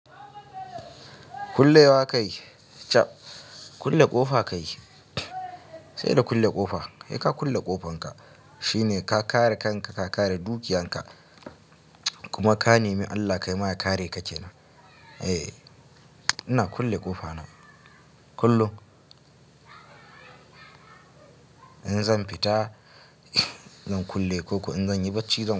Kullewa kai? Chab kulle ƙofa kai. Sai da kulle ƙofa. Sai ka kulle ƙofanka shine ka kare kanka, ka kare dukiyanka kuma ka nemi Allah kai ma ya kare ka ke nan. Eh ina kulle ƙofa na kullum. Inzan fita zan kulle koko, in zan yi barci zan.